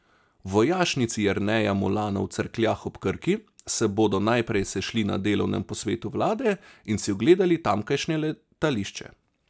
V Vojašnici Jerneja Molana v Cerkljah ob Krki se bodo najprej sešli na delovnem posvetu vlade in si ogledali tamkajšnje letališče.